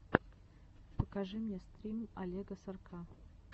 покажи мне стрим олега сорка